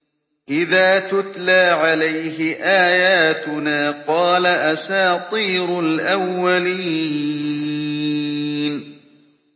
إِذَا تُتْلَىٰ عَلَيْهِ آيَاتُنَا قَالَ أَسَاطِيرُ الْأَوَّلِينَ